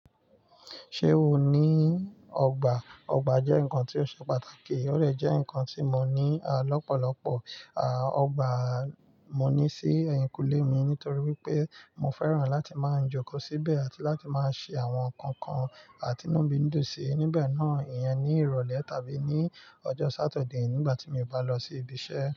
Ṣé o ní ọgbà? Ọgbà jẹ́ nǹkan tí ó ṣe pàtàkì, ó dẹ jẹ́ ǹkan tí mo ní lọ́pọ̀lọpọ̀, à ọgbà mo ní sí ẹ̀yìnkùlé mi nítorí pé mo fẹ́ràn láti máa ń jókòó síbẹ̀ àti láti máa ṣe àwọn nǹkan kan ti nu ni dunsi níbẹ̀ náà, ìyẹn ní ìrọ̀lẹ́ tàbí ní ọjọ́ Saturday nígbà tí mi ò bá lọ sí ibi iṣẹ́.